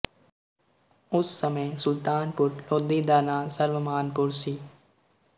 ਉਸ ਸਮੇਂ ਸੁਲਤਾਨਪੁਰ ਲੋਧੀ ਦਾ ਨਾਂ ਸਰਵਮਾਨਪੁਰ ਸੀ